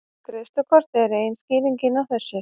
Greiðslukort eru ein skýringin á þessu.